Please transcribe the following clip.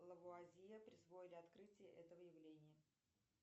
лавуазье присвоили открытие этого явления